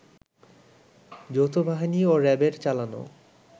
যৌথবাহিনী ও র‌্যাবের চালানো